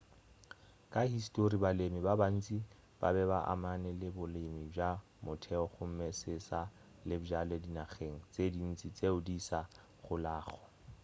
ka histori balemi ba bantši ba be ba amane le bolemi bja motheo gomme se se sa le bjale dinageng tše dintši tšeo di sa golago